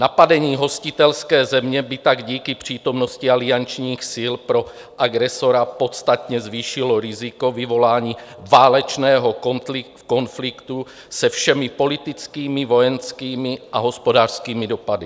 Napadení hostitelské země by tak díky přítomnosti aliančních sil pro agresora podstatně zvýšilo riziko vyvolání válečného konfliktu se všemi politickými, vojenskými a hospodářskými dopady.